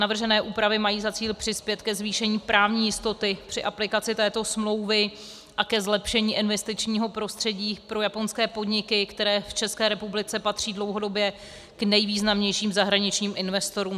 Navržené úpravy mají za cíl přispět ke zvýšení právní jistoty při aplikaci této smlouvy a ke zlepšení investičního prostředí pro japonské podniky, které v České republice patří dlouhodobě k nejvýznamnějším zahraničním investorům.